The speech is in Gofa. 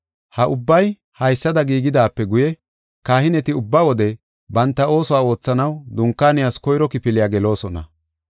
Ha ubbay haysada giigidaape guye, kahineti ubba wode banta oosuwa oothanaw dunkaaniyas koyro kifiliya geloosona.